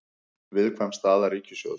Viðkvæm staða ríkissjóðs